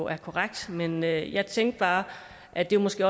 er korrekt men jeg jeg tænker bare at det måske